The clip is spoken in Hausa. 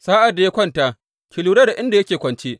Sa’ad da ya kwanta, ki lura da inda yake kwance.